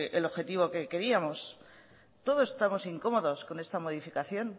el objetivo que queríamos todos estamos incómodos con esta modificación